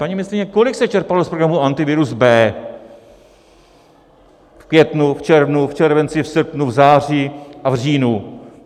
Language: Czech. Paní ministryně, kolik se čerpalo z programu Antivirus B v květnu, v červnu, v červenci, v srpnu, v září a v říjnu?